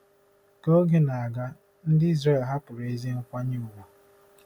Ka oge na-aga, ndị Izrel hapụrụ ezi nkwanye ùgwù.